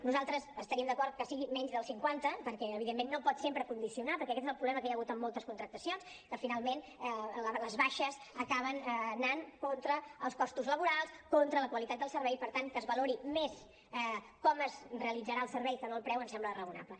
nosaltres estaríem d’acord que sigui menys del cinquanta perquè evidentment no pot sempre condicionar perquè aquest és el problema que hi ha hagut amb moltes contractacions que finalment les baixes acaben anant contra els costos laborals contra la qualitat del servei i per tant que es valori més com es realitzarà el servei que no el preu ens sembla raonable